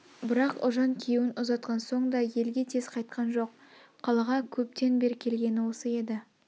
бірақ ұлжан күйеуін ұзатқан соң да елге тез қайтқан жоқ қалаға көптен бер келгені осы еді